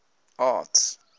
arts